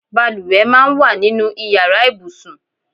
Bàlùwẹ̀ máa ń wà nínú ìyára ibùsùn.